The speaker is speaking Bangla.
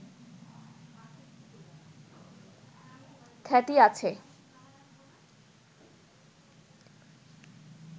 খ্যাতি আছে